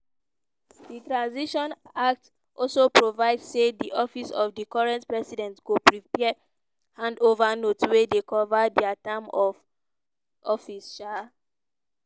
di transition act also provide say di office of di current president go prepare hand over notes wey dey cover dia term of office. um